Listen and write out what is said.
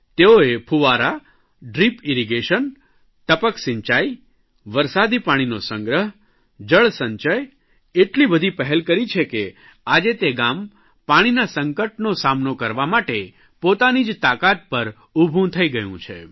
તેઓએ ફુવારા ડ્રીપ ઇરિગેશનટપકસિંચાઇ વરસાદી પાણીનો સંગ્રહ જળસંચય એટલી બધી પહેલ કરી છે કે આજે તે ગામ પાણીના સંકટનો સામનો કરવા માટે પોતાની જ તાકાત પર ઉભું થઇ ગયું છે